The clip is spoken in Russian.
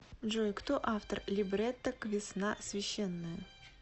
джой кто автор либретто к весна священная